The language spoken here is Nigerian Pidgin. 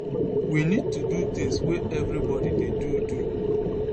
we need to do tins wey evribody dey do do